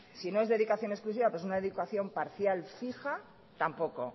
si no es dedicación exclusiva es una dedicación parcial fija tampoco